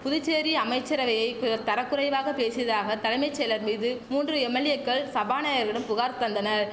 புதுச்சேரி அமைச்சரவையை பிறர் தரக்குறைவாக பேசியதாக தலைமை செயலர் மீது மூன்று எம்எல்ஏக்கள் சபாநாயகரிடம் புகார் தந்தனர்